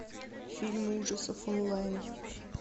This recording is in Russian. фильмы ужасов онлайн